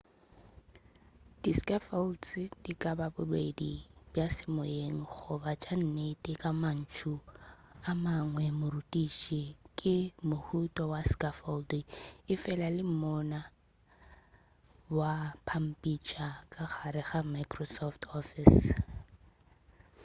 di scaffolds di ka ba bobedi bja semoyeng goba tša nnete ka mantšu a mangwe morutiši ke mohuta wa scaffold efela le monna wa pampitša ka gare ga microsoft office